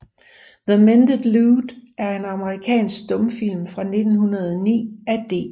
The Mended Lute er en amerikansk stumfilm fra 1909 af D